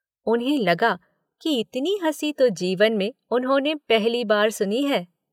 उन्हें लगा कि इतनी हँसी तो जीवन में उन्होंने पहली बार सुनी है।